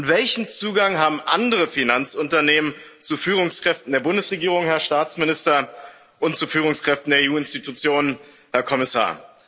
Welchen Zugang haben andere Finanzunternehmen zu Führungskräften der Bundesregierung, Herr Staatsminister, und zu Führungskräften der EU Institutionen, Herr Kommissar?